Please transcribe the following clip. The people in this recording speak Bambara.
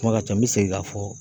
Kuma ka ca n bɛ segin ka fɔ.